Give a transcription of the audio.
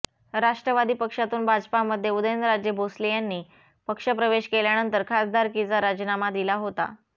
राष्ट्रवादी पक्षातून भाजपामध्ये उदयनराजे भोसले यांनी पक्षप्रवेश केल्यानंतर खासदारकीचा राजीनामा दिला होता